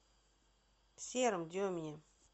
сером демине